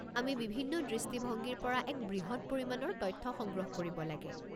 আমি বিভিন্ন দৃষ্টিভংগীৰ পৰা এক বৃহৎ পৰিমাণৰ তথ্য সংগ্ৰহ কৰিব লাগে।